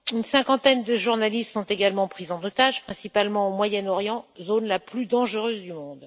Une cinquantaine de journalistes sont également pris en otage, principalement au Moyen Orient, zone la plus dangereuse du monde.